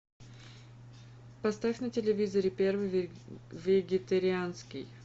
поставь на телевизоре первый вегетарианский